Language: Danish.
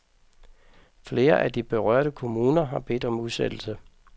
Flere af de berørte kommuner har bedt om udsættelse.